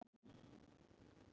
Dæsti alveg óvart.